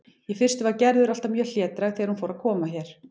Í fyrstu var Gerður alltaf mjög hlédræg þegar hún fór að koma hér.